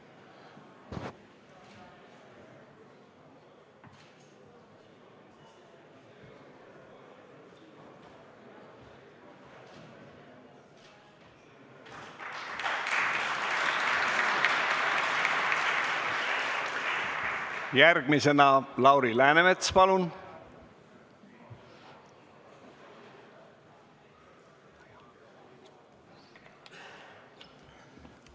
Järgmisena Lauri Läänemets, palun!